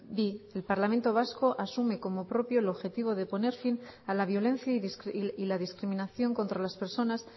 bi el parlamento vasco asume como propio el objetivo de poner fin a la violencia y la discriminación contra las personas